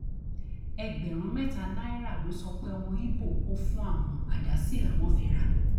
ẹgbẹrún mẹta náírà ló sọ pé ọmọ ibo kò fún àwọn àdá sí làwọn fi rà